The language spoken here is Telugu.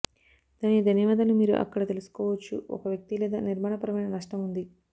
దానికి ధన్యవాదాలు మీరు అక్కడ తెలుసుకోవచ్చు ఒక వ్యక్తి లేదా నిర్మాణపరమైన నష్టం ఉంది